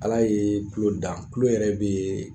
Ala ye tulo dan, tulo yɛrɛ bɛ